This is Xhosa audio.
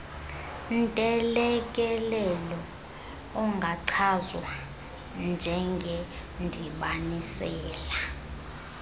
ntelekelelo ungachazwa njengendibanisela